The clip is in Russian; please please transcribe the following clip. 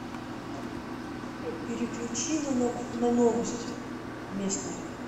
переключи на новости местные